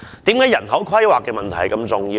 為何人口規劃的問題如此重要呢？